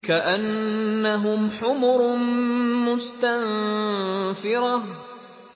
كَأَنَّهُمْ حُمُرٌ مُّسْتَنفِرَةٌ